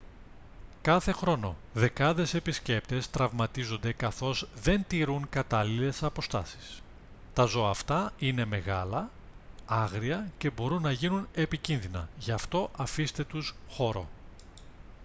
κάθε χρόνο δεκάδες επισκέπτες τραυματίζονται καθώς δεν τηρούν κατάλληλες αποστάσεις τα ζώα αυτά είναι μεγάλα άγρια και μπορούν να γίνουν επικίνδυνα γι' αυτό αφήστε τους χώρο